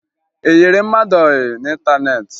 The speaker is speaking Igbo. Ị yịrị mmadụ ọyị n'ịntaneetị?